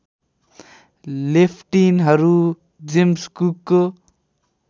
लेफ्टिनहरूट James कुकको